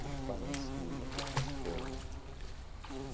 sobre os parentes que já se foram né.